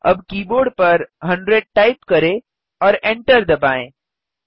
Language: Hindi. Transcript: अब कीबोर्ड पर 100 टाइप करें और एन्टर दबाएँ